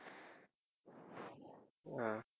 அஹ்